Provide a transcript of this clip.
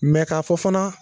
ka fɔ fana